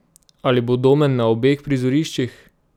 Ali bo Domen na obeh prizoriščih?